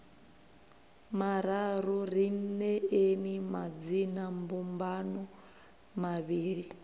mararu ri neeni madzinambumbano mavhili